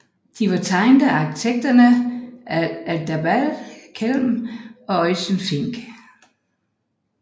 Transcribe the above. De var tegnet af arkitekterne Adalbert Kelm og Eugen Fink